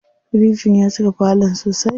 Firijin ya cika falon sosai.